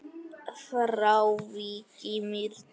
Frá Vík í Mýrdal